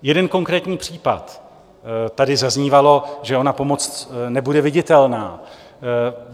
Jeden konkrétní případ - tady zaznívalo, že ona pomoc nebude viditelná.